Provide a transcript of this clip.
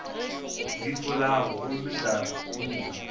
di fulago gomme ka ruma